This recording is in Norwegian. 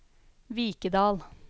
Vikedal